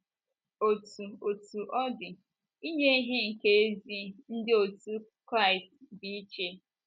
Otú Otú ọ dị, inye ihe nke ezi ndị otú Kraịst dị iche.